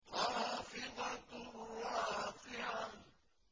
خَافِضَةٌ رَّافِعَةٌ